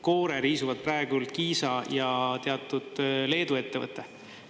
Koore riisuvad praegu Kiisa ja teatud Leedu ettevõte.